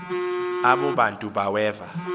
abo bantu baweva